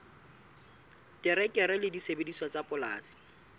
terekere le disebediswa tsa polasing